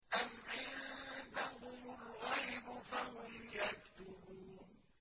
أَمْ عِندَهُمُ الْغَيْبُ فَهُمْ يَكْتُبُونَ